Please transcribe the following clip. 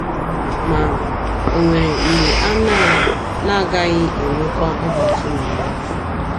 Ma, ò nwere mgbe a na na - agaghị enwekwa ọdachi n’ụwa a?